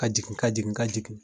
Ka jigin ka jigin ka jigin